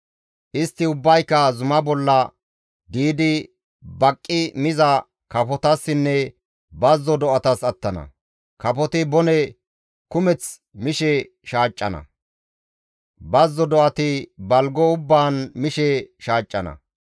Istti ubbayka zuma bolla diidi baqqi miza kafotassinne bazzo do7atas attana; kafoti bone kumeth mishe shaaccana; bazzo do7ati balgo ubbaan mishe shaaccana.